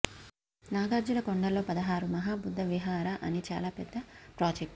నాగార్జున కొండలో పదహారు మహా బుద్ధ విహార అని చాలా పెద్ద ప్రాజెక్ట్